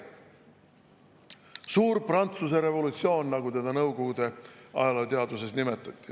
Suur Prantsuse revolutsioon, nagu seda Nõukogude ajalooteaduses nimetati.